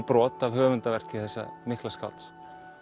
spegilbrot af höfundarverki þessa mikla skálds